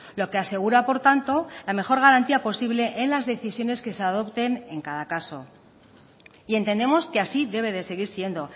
lo que asegura por tanto la mejor garantía posible en las decisiones que se adopten en cada caso y entendemos que así debe de seguir siendo